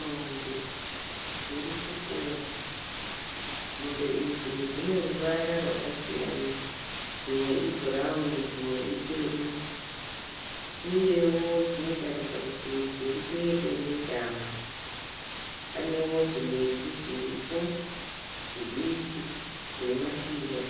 Mombe dziri kufura, mombe idzi dzine ruvara rwakasiyana dzimwe ibhurawuni dzimwe itema uyewo dzinotaridza kuti dziri pedo nedhamu panewo zvimiti zviripo zvidiki zvine mashizha